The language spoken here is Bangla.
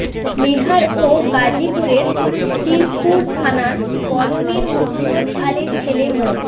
নেহার ও গাজীপুরের শ্রীপুর থানার বরমীর মোহাম্মদ আলীর ছেলে মো